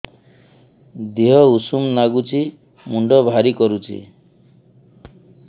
ଦିହ ଉଷୁମ ନାଗୁଚି ମୁଣ୍ଡ ଭାରି କରୁଚି